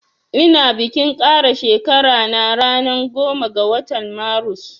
Ina bikin kara shekara na ranan goma ga watan marus